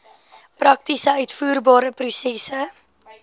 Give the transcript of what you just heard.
prakties uitvoerbare prosesse